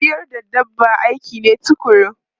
Ciyar da dabba aiki ne tukuru.